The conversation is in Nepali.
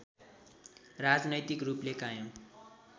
राजनैतिक रूपले कायम